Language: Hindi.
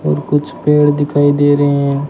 और कुछ पेड़ दिखाई दे रहे--